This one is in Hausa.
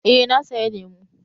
Eh na saya lemu